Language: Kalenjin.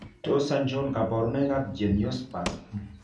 Tos achon kabarunaik ab Geniospasm ?